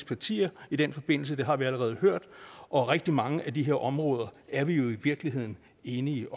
partier i den forbindelse det har vi allerede hørt og rigtig mange af de her områder er vi jo i virkeligheden enige